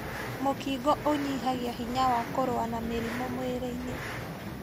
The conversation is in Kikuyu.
Mũkingo ũnyihagia hinya wa kũrũa na mĩrimũ mwĩrĩ-inĩ